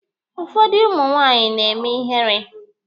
Ụfọdụ ụmụ nwaanyị na-eme ihere.